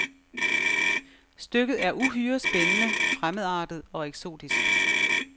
Stykket er uhyre spændende, fremmedartet og eksotisk.